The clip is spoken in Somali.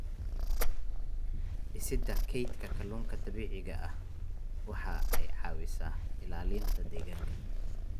Dhisidda kaydka kalluunka dabiiciga ahi waxa ay caawisaa ilaalinta deegaanka.